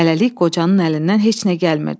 Hələlik qocanın əlindən heç nə gəlmirdi.